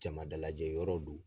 Jama dalajɛ yɔrɔ do.